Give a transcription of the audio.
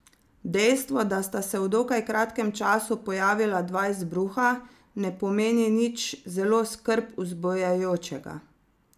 Dejstvo, da sta se v dokaj kratkem času pojavila dva izbruha, ne pomeni nič zelo skrb vzbujajočega.